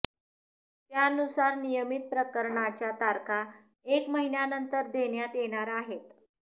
त्यानुसार नियमित प्रकरणांच्या तारखा एक महिन्यानंतर देण्यात येणार आहेत